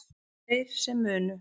Þeir sem munu